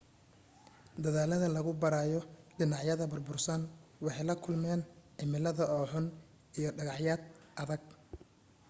dadaalada lagu baarayo dhinacyada burbursan waxay la kulmeen cimilada oo xun iyo dhagacyad adag